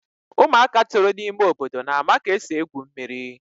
ụmụaka toro n'ime obodo na-ama ka esi egwu mmiri.